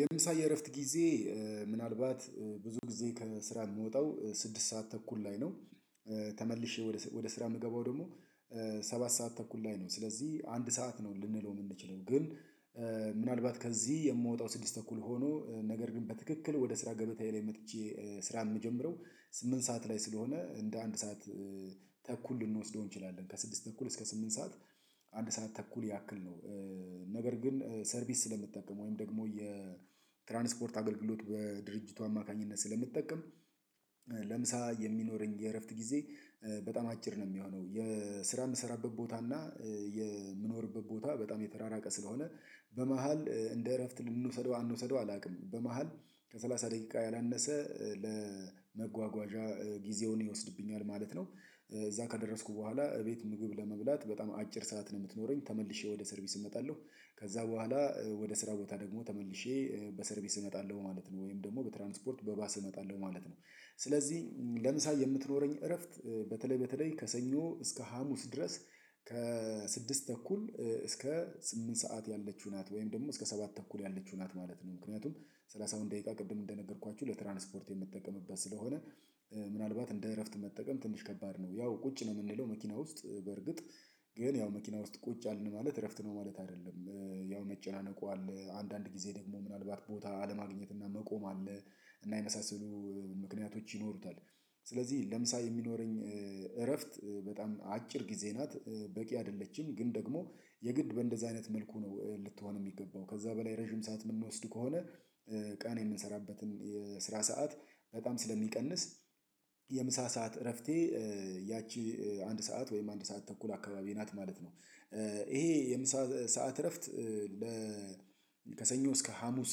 የምሳ የእረፍት ጊዜ ምናልባት ብዙ ጊዜ ከስራ የምወጣው ስድስት ሰዓት ተኩል ላይ ነው። ተመልሼ ወደ ስራ የምገባው ደግሞ ሰባት ሰዓት ተኩል ላይ ነው ስለዚህ አንድ ሰዓት ነው ልንለው የምንችለው ግን ምናልባት ከዚህ የምወጣው ስድስት ተኩል ሆኖ ነገር ግን በትክክል ወደ ስራ ገበታዬ ላይ መጥቼ ስራ የምጀምረው ስምንት ሰዓት ላይ ስለሆነ እንደ አንድ ሰዓት ተኩል ልንወስደው እንችላለን ከስድስት ተኩል እስከ ስምንት ሰዓት አንድ ሰዓት ተኩል ያክል ነው። ነገር ግን ሰርቪስ ስለምትጠቀም ወይም ደግሞ የትራንስፖርት አገልግሎት በድርጅቱ አማካኝነት ስለምትጠቀም። ለምሳ የሚኖረኝ የእረፍት ጊዜ በጣም አጭር ነው የሚሆነው የስራ የምሰራበት ቦታ እና የምኖርበት ቦታ በጣም የተራራቀ ስለሆነ በመሃል እንደ እረፍት ልንወሰደው አንዉሰደው አላውቅም በመሃል ከሠላሳ ደቂቃ ያላነሰ ለመጓጓዣ ጊዜውን ይወስድብኛል ማለት ነው። እዛ ከደረስኩ በኋላ እቤት ምግብ ለመብላት በጣም አጭር ሰዓት ነው የምትኖረኝ ተመልሼ ወደ ሰርቪስ እመጣለሁ ከዛ በኋላ ወደ ስራ ቦታ ደግሞ ተመልሼ በሰርቪስ እመጣለሁ ማለት ነው ወይም ደግሞ በትራንስፖርት በባስ እመጣለሁ ማለት ነው። ስለዚህ ለምሳሌ የምትኖረኝ እረፍት በተለይ በተለይ ከሰኞ እስከ ሀሙስ ድረስ ከስድስት ተኩል እስከ ስምንት ሰዓት ያለችው ናት ወይም ደግሞ እስከ ሰባት ተኩል ያለችው ናት ማለት ነው። ምክንያቱም ሰላሳዉነ ደቂቃ ቅድም እንደነገርኳችሁ ለትራንስፖርት የምትጠቀምበት ስለሆነ ምናልባት እንደ እረፍት መጠቀም ትንሽ ከባድ ነው ያው ቁጭ ነው የምንለው መኪና ውስጥ በርግጥ ግን ያው መኪና ውስጥ ቁጭ አልን ማለት እረፍት ነው ማለት አይደለም ያው መጨናነቁ አለ አንዳንድ ጊዜ ደግሞ ምናልባት ቦታ አለማግኘት እና መቆም አለ እና የመሳሰሉ ምክንያቶች ይኖሩታል። ስለዚህ ለምሳ የሚኖረኝ እረፍት በጣም አጭር ጊዜ ናት በቂ አይደለችም ግን ደግሞ የግድ በእንደዚህ አይነት መልኩ ነው ልትሆን የሚገባው ከዛ በላይ ረጅም ሰዓት የምንወስድ ከሆነ ቀን የምንሰራበትን የስራ ሰዓት በጣም ስለሚቀንስ የምሳ ሰዓት እረፍቴ ያቺ አንድ ሰዓት ወይም አንድ ሰዓት ተኩል አካባቢ ናት ማለት ነው። ይሄ የምሳ ሰዓት እረፍት ለ ከሰኞ እስከ ሀሙስ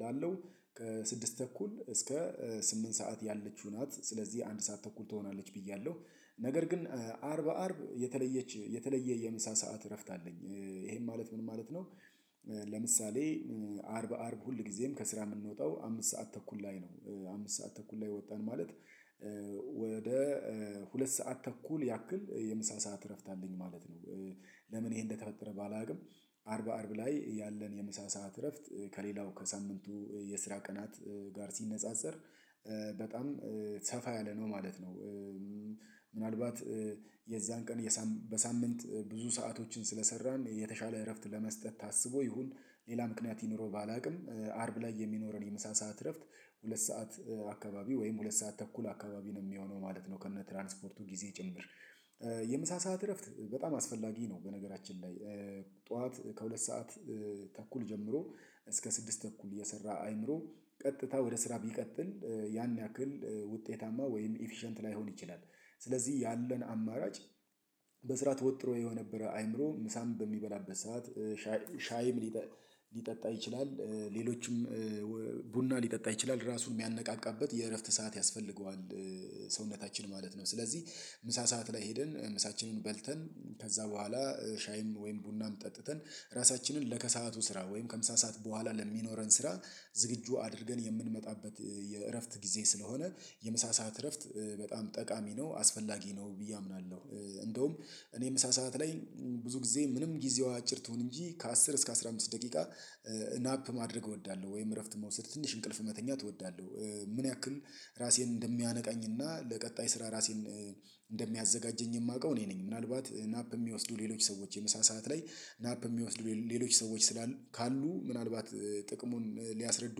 ላለው ከስድስት ተኩል እስከ ስምንት ሰዓት ያለችው ናት ስለዚህ አንድ ሰዓት ተኩል ትሆናለች ብያለሁ ነገር ግን አርብ አርብ የተለየች የተለየ የምሳ ሰዓት እረፍት አለኝ ይሄን ማለት ምን ማለት ነው? ለምሳሌ አርብ አርብ ሁል ጊዜም ከስራ የምንወጣው አምስት ሰዓት ተኩል ላይ ነው አምስት ሰዓት ተኩል ላይ ወጣን ማለት ሁለት ሰዓት ተኩል ያክል የምሳ ሰዓት እረፍት አለኝ ማለት ነው። ለምን ይሄ እንደተፈጠረ ባላውቅም አርብ አርብ ላይ ያለን የምሳሳአት እረፍት ከሌላው ከሳምንቱ የስራ ቀናት ጋር ሲነጻጸር በጣም ሰፋ ያለ ነው ማለት ነው። ምናልባት የዛን ቀን በሳምንት ብዙ ሰአቶችን ስለሰራን የተሻለ እረፍት ለመስጠት ታስቦ ይሁን ሌላ ምክንያት ይኑረው ባላውቅም አርብ ላይ የሚኖረን የምሳ ሰዓት እረፍት ሁለት ሰዓት አካባቢ ወይም ሁለት ሰዓት ተኩል አካባቢ ነው የሚሆነው ማለት ነው ከነ ትራንስፖርቱ ጊዜ ጭምር። የምሳ ሰዓት እረፍት በጣም አስፈላጊ ነው በነገራችን ላይ ጠዋት ከሁለት ሰዓት ተኩል ጀምሮ እስከ ስድስት ተኩል የሰራ አይምሮ ቀጥታ ወደ ስራ ቢቀጥል ያን ያክል ውጤታማ ወይም ኢፊሸንት ላይሆን ይችላል። ስለዚህ ያለን አማራጭ ተወጥሮ የነበረ አይምሮ ምሳም በሚበላበት ሰዓት ሻይ ሊጠጣ ይችላል ሌሎችም ቡና ሊጠጣ ይችላል ራሱን የሚያነቃቃበት የእረፍት ሰዓት ያስፈልገዋል ሰውነታችን ማለት ነው። ስለዚህ ምሳ ሰዓት ላይ ሄድን ምሳችንን በልተን ከዛ በኋላ ሻይም ወይም ቡናም ጠጥተን ራሳችንን ለከሰአቱ ስራ ወይም ከምሳ ሰዓት በኋላ ለሚኖረን ስራ ዝግጁ አድርገን የምንመጣበት የእረፍት ጊዜ ስለሆነ የምሳሳአት እረፍት በጣም ጠቃሚ ነው አስፈላጊ ነው ብዬ አምናለሁ። እንደውም እኔም ምሳሳአት ላይ ብዙ ጊዜ ምንም ጊዜው አጭር ትሁን እንጂ ከአስር እስከ አስራ አምስት ደቂቃ ናፕ ማድረግ እወዳለሁ ወይም እረፍት መውሰድ ትንሽ እንቅልፍ መተኛት እወዳለሁ። ምን ያክል ራሴን እንደሚያነቃኝና ለቀጣይ ስራ ራሴን እንደሚያዘጋጀኝ የማውቀው እኔ ነኝ ምናልባት ናፕ የሚወስዱ ሌሎች ሰዎች የምሳ ሰዓት ላይ ናፕ የሚወስዱ ሌሎች ሰዎች ስላሉ ካሉ ምናልባት ጥቅሙን ሊያስረዱ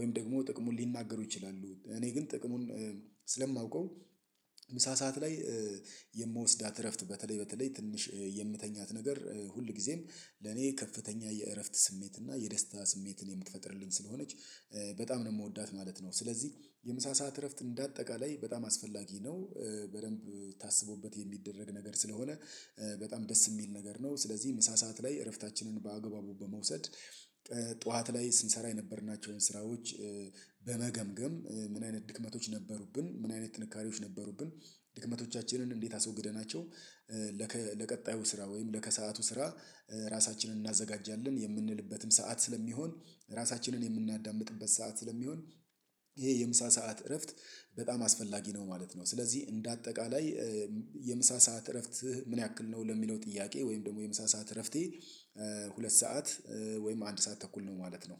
ወይም ደግሞ ጥቅሙን ሊናገሩ ይችላሉ እኔ ግን ጥቅሙን ስለማውቀው ምሳ ሰዓት ላይ የምወስዳት እረፍት በተለይ በተለይ ትንሽ የምትተኛት ነገር ሁል ጊዜም ለኔ ከፍተኛ የእረፍት ስሜት እና የደስታ ስሜትን የምትፈጥርልኝ ስለሆነች በጣም ነው የምወዳት ማለት ነው። ስለዚህ የምሳ ሰዓት እረፍት እንደ አጠቃላይ በጣም አስፈላጊ ነው በደንብ ታስቦበት የሚደረግ ነገር ስለሆነ በጣም ደስ የሚል ነገር ነው ስለዚህ ምሳ ሰዓት ላይ እረፍታችንን በአግባቡ በመውሰድ ጠዋት ላይ ስንሰራ የነበርናቸውን ስራዎች በመገምገም ምን አይነት ድክመቶች ነበሩብን ምን አይነት ጥንካሬዎች ነበሩብን? ድክመቶቻችንን እንዴት አስወግደናቸው? ለቀጣዩ ስራ ወይም ለከሰአቱ ስራ ራሳችንን እናዘጋጃለን የምንልበትም ሰዓት ስለሚሆን ራሳችንን የምናዳምጥበት ሰዓት ስለሚሆን ይሄ የምሳ ሰዓት እረፍት በጣም አስፈላጊ ነው ማለት ነው። ስለዚህ እንደ አጠቃላይ የምሳ ሰዓት እረፍት ምን ያክል ነው ለሚለው ጥያቄ ወይም ደግሞ የምሳ ሰዓት እረፍቴ ሁለት ሰዓት ወይም አንድ ሰዓት ተኩል ነው ማለት ነው